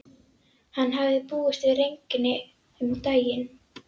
Hann hafði búist við regni um daginn.